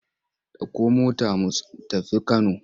Ɗauko mota mu tafi Kano!